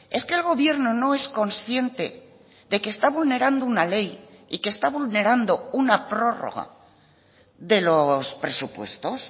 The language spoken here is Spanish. es que el gobierno no es consciente de que está vulnerando una ley y que está vulnerando una prórroga de los presupuestos